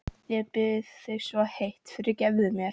Ég bið þig svo heitt: Fyrirgefðu mér.